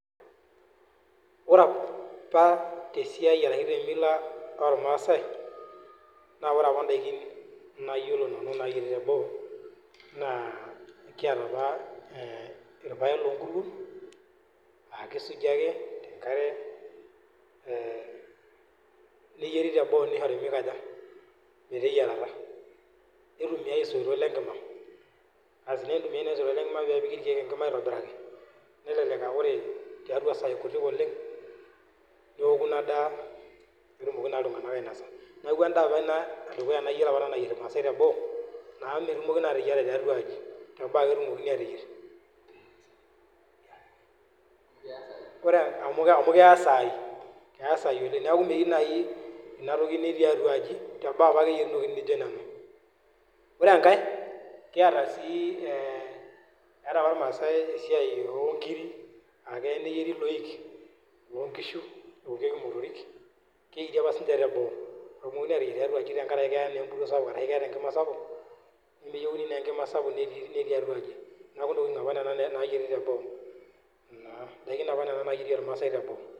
Ore apa tesiai ashu tee Mila ormaasai naa ore apa daiki nayiolo nanu nayieri tenilo naa kiata apa irpaek loo nkuruon aa kisuji ake tenkare nishore meteyiarata naitumiai esoitok lengima pee epiki irkeek lenkima neeku ore tiatua sai kutik oleng ewoo ena daa pee etumoki iltung'ana ainosa neeku endaa apa ena edukuya nayiolo nayieri irmaasai teboo amu metumokini naa ateyier tiatua aji tebo ake etumokini ateyier amu keya sai neeku metumoki ateyier tiatua aji teboo ake eyieri etaa apa irmaasai esiai oo nkiri akeya neyieri eloik loo nkishu ayierie emotorik nemeyieri tiatua aji amu keeta empuruo ashu Enkima sapuk neeku enyokitin apa nena nayieri teboo edaiki apa ormaasai Nena nayieri teboo